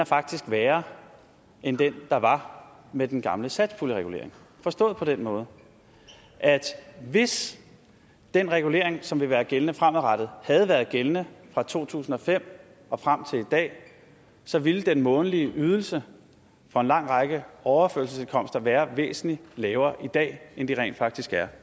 faktisk værre end den der var med den gamle satspuljeregulering forstået på den måde at hvis den regulering som vil være gældende fremadrettet havde været gældende fra to tusind og fem og frem til i dag så ville den månedlige ydelse for en lang række overførselsindkomster være væsentlig lavere i dag end den rent faktisk er